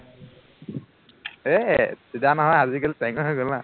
এৰ চিধা নহয় আজিকালিতো টেঙৰ হৈ গল ন